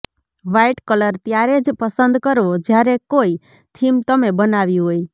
white colour ત્યારે જ પસંદ કરવો જ્યારે કોઇ થીમ તમે બનાવી હોય